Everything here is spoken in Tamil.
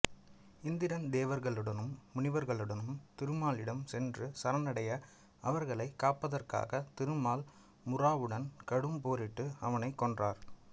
இந்திரன் தேவர்களுடனும் முனிவர்களுடனும் திருமாலிடம் சென்று சரணடைய அவர்களைக் காப்பதற்காகத் திருமால் முராவுடன் கடும் போரிட்டு அவனைக் கொன்றார்